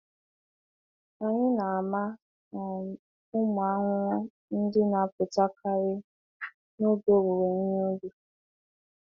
Anyị na-ama um ụmụ ahụhụ ndị na-apụtakarị n'oge owuwe ihe ubi.